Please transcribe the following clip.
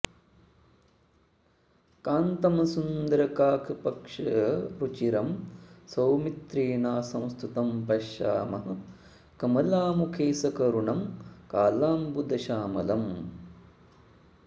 कान्तं सुन्दरकाकपक्षरुचिरं सौमित्रिणा संस्तुतं पश्यामः कमलामुखे सकरुणं कालाम्बुदश्यामलम्